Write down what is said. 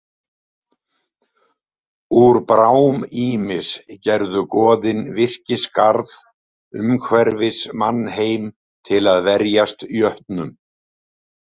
Úr brám Ýmis gerðu goðin virkisgarð umhverfis mannheim til að verjast jötnum.